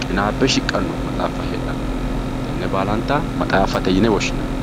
qinaabbe shiqqanno maxaaffa heedhanno tenne baalanta maxaaffate yine woshshinanni.